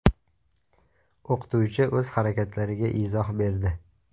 O‘qituvchi o‘z harakatlariga izoh berdi .